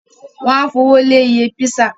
Wọ́n ó fowó lé iye písà